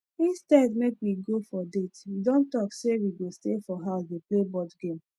instead make we go for date we don talk say we go stay for house dey play board game